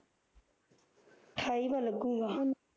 ਅਠਾਈਵਾਂ ਲੱਗੂਗਾ